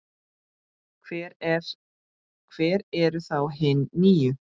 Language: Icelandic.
Hver eru þá hin níu?